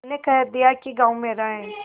मैंने कह दिया कि गॉँव मेरा है